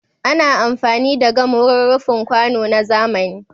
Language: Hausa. Ana amfani da gam wurin rufin kwano na zamani.